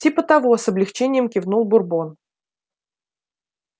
типа того с облегчением кивнул бурбон